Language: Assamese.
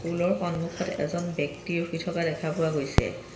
স্কুল ৰ সন্মুখত এজন ব্যক্তি ৰখি থকা দেখা পোৱা গৈছে।